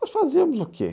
Nós fazíamos o quê?